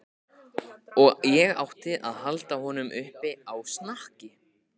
Og ég átti að halda honum uppi á snakki!